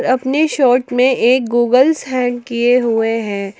अपने शर्ट में एक गूगल हैंक किए हुए हैं।